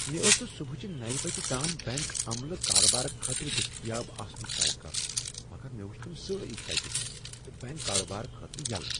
مےٚ ٲس نہٕ صبحٲچہ نوَ بجہ تام بیٚنٛک عملہ کارٕبار خٲطرٕ دٔستیاب آسنٕٗك توقع مگر مےٚ وچھ تم سٲری تٕتہِ تہٕ بیٚنٛک کارٕبار خٲطرٕ یلہٕ